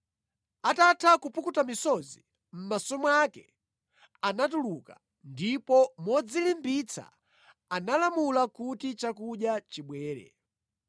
Atatha kupukuta misozi mʼmaso mwake anatuluka, ndipo modzilimbitsa analamula kuti chakudya chibwere.